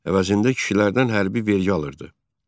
Əvəzində kişilərdən hərbi vergi alırdı.